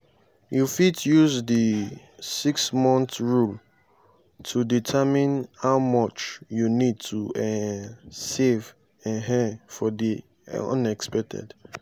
you fit use di 6-month rule to determine how much you need to um save um for di unexpected.